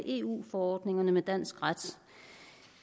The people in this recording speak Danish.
eu forordningerne og dansk ret